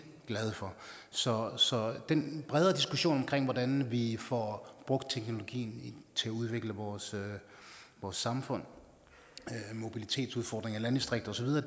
glade for så så den bredere diskussion omkring hvordan vi får brugt teknologien til at udvikle vores vores samfund mobilitetsudfordringer i landdistrikterne